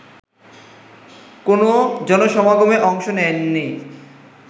কোনো জনসমাগমে অংশ নেননি